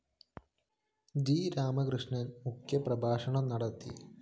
G Radhakrishnan‍ മുഖ്യപ്രഭാഷണം നടത്തി